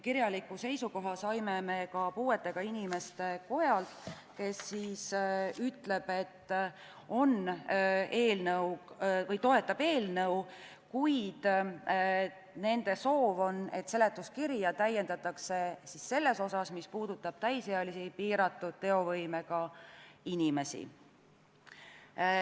Kirjaliku seisukoha saime muu hulgas Eesti Puuetega Inimeste Kojalt, kes ütles, et toetab eelnõu, kuid nende soov on, et seletuskirja täiendataks selles osas, mis puudutab täisealisi piiratud teovõimega inimesi.